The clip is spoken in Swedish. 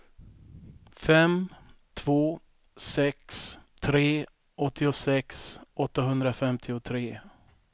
fem två sex tre åttiosex åttahundrafemtiotre